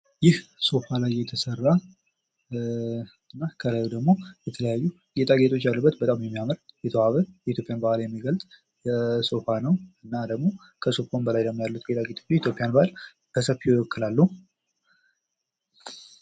ይህ ሶፋ ላይ የተሰራ እና ከላዩ ላይ ደግሞ የተለያዩ ጌጣ ጌጦች ያሉበት በጣም የሚያምር የተዋበ የኢትዮጵያን ባህል የሚገልፅ ሶፋ ነው። እና ደሞ ከሶፋው በላይ ያሉት ጌጣጌጦች የኢትዮጵያን ባህል በሰፊው ይወክላሉ።